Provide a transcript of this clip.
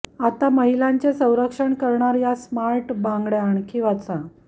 आता महिलांचे संरक्षण करणार या स्मार्ट बांगड्या आणखी वाचा